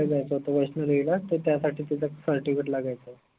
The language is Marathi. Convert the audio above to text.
बाहेर गावी जायचं होत वैष्णो देवीला त त्यासाठी तिथे certificate लागायचं